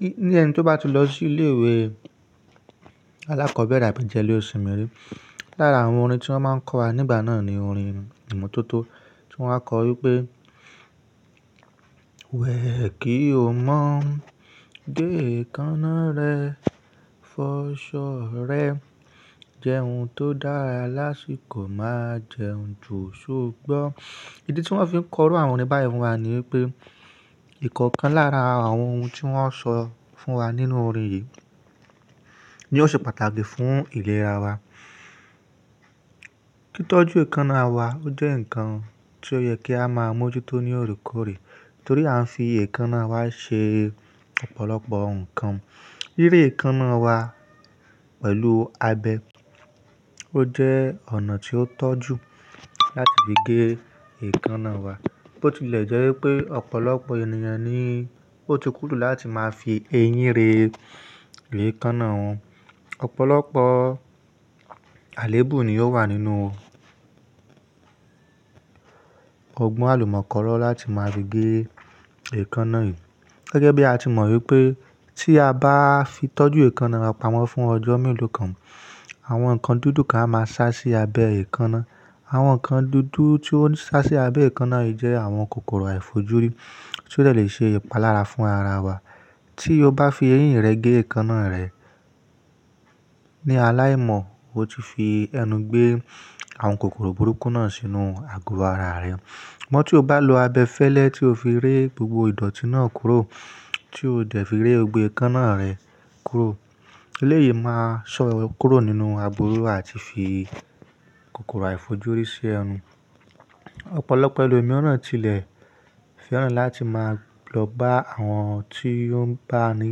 Ní, ní ẹni tó bá ti lọ sí ilé ìwé alákọ́bẹ̀rẹ̀ àbí jẹ ilé òṣìǹmí rí, lára àwọn orin tí wọ́n máa ń kọ́ wa nígbà náà ni orin ìmotótó tí wọ́n á kọ ọ wípé wẹ̀ kí o mọ̀, gé èékánná rẹ, fọ ṣọ̀ ọ̀ rẹ, jẹ ohun tó dára lásìkò máa jẹ ohun jù ṣógbọ́n. Ìdí tí wọ́n fi ń kọ orò àwọn orin báyìí wá ni wípé ìkọ̀kan lára àwọn ohun tí wọ́n ṣọ fún wa nínú orin yìí ni ó ṣe pàtàkì fún ìlera wa. Títọ́jú èékánná wa ó jẹ́ ǹkan tí ó yẹ kí á máa mójútó ní òrèkórè torí a ń fi èékánná wa ṣe ọ̀pọ̀lọpọ̀ ǹkan. Ríre èékánná wa pẹ̀lú abẹ ó jẹ́ ọ̀nà tí ó tọ́jú láti fi gé èékánná wa. Bó ti lè jẹ́ wípé ọ̀pọ̀lọpọ̀ ènìyàn ni ó ti kúrú láti máa fi eyín re gé èékánná wọn. Òpọ̀lọpọ̀ àléébù ni yóò wà nínú ọgbọ́n àlùmọ́nkọ́ró láti máa fi gé èékánná yìí. Gẹ́gẹ́ bí a ti mọ̀ wípé tí a bá fi tọ́jú èékánná wa pamọ́ fún ọjọ́ mélòó kan, àwọn ǹkan dúdú kan á máa sá sí abẹ èékánná. Àwọn ǹkan dúdú tí ó ń sá sí abẹ èékánná yìí jẹ́ àwọn kòkòrò àìfojúrí tí ó lè ṣe ìpalára fún ara wa. Tí o bá fi eyín rẹ gé èékánná rẹ ní aláìmọ̀, o ti fi ẹnu gbé àwọn kòkòrò burúkú náà sínú àgùà ara rẹ. Mọ́ tí o bá lo abẹ fẹ́lẹ́ tí o fi ré gbogbo ìdọ̀tí náà kúrò tí o dẹ̀ fi ré gbogbo èékánná rẹ kúró. Eléyìí máa ṣọ́ ọ kúrò nínú àbùrò àti fi kòkòrò àìfojúrí sí ẹnu. Òpọ̀lọpọ̀ ẹlòmíràn tilẹ̀ fẹ́ràn láti máa lọ bá àwọn tí ó ń bá ni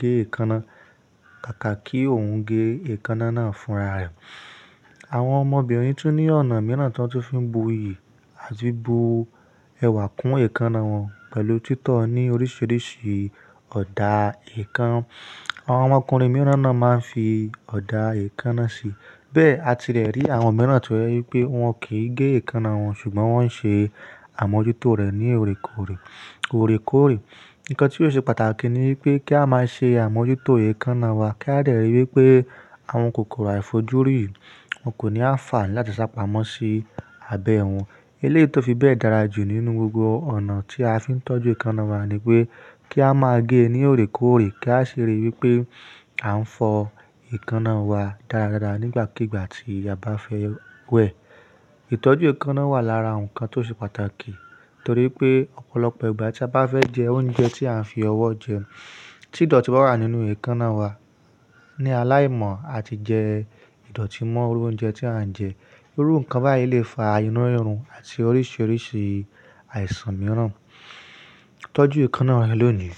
gé èékánná, kàkà kí òun gé èékánná náà fún ara rẹ̀. Àwọn ọmọbìnrin tí ó ní ọ̀nà mìíràn tí wọ́n ti fi ń bu iyì àti bu ẹwà kún èékánná wọn pẹ̀lú títọ́ ọ ní oríṣiríṣi ọ̀dà èékánná. Àwọn ọmọkùnrin mìíràn náà máa ń fi ọ̀dà èékánná sí i. Bẹ́ẹ̀ àti rẹ̀ rí àwọn mìíràn tí wẹ́ wípé wọn kì í gé èékánná wọn ṣùgbọ́n wọ́n ń ṣe àmójútó rẹ̀ ní òrèkórè. Ìkọ tí ó ṣe pàtàkì ni wípé kí á máa ṣe àmójútó èékánná wa kí a dè ríi wípé àwọn kòkòrò àìfojúrí wọn kò ní á fà láti sá pamọ́ sí abẹ wọn. Eléyìí tó fi bẹ́ẹ̀ dára jù nínú gbogbo ọ̀nà tí a fi ń tọ́jú èékánná wa ni wípé kí á máa gé ẹ ní òrèkórè kí a sì ríi wípé à ń fọ èékánná wa dáradára nígbàkígbà tí a bá fẹ́ wẹ̀. Ìtọ́jú èékánná wà lára ǹkan tó ṣe pàtàkì torí pé ọ̀pọ̀lọpọ̀ ìgbà tí a bá fẹ́ jẹ oúnjẹ tí à ń fi ọwọ́ jẹ, tí ìdọ̀tí bá wà nínú èékánná wa ní aláìmọ̀, a ti jẹ ìdọ̀tí mọ́ irú oúnjẹ tí à ń jẹ. Irú ǹkan báyìí lè fa inúrírun àti oríṣiríṣi àìsàn mìíràn. Tọ́jú èékánná rẹ lónìí.